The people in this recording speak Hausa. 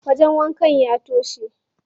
Wajen wankan ya toshe.